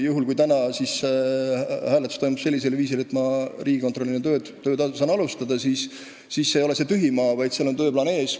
Juhul kui tänane hääletus läheb sellisel viisil, et ma saan alustada tööd riigikontrolörina, siis see ei ole mitte tühi maa, vaid seal on tööplaan ees.